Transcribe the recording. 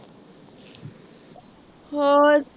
ਹੋਰ